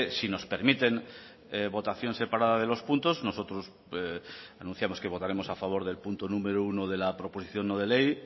si nos permiten votación separada de los puntos nosotros anunciamos que votaremos a favor del punto número uno de la proposición no de ley